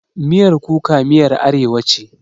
Miyan kuka miyar arewa ce.